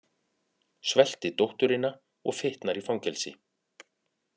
Svelti dótturina og fitnar í fangelsi